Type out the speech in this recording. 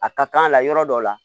A ka kan a la yɔrɔ dɔw la